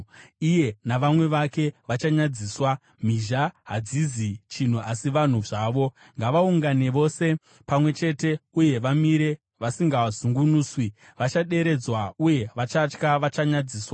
Iye navamwe vake vachanyadziswa; mhizha hadzizi chinhu asi vanhu zvavo. Ngavaungane vose pamwe chete uye vamire vasingazungunuswi; vachaderedzwa, uye vachatya vachanyadziswa.